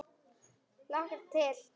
Hlakkar til.